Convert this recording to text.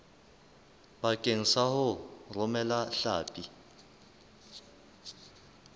bakeng sa ho romela hlapi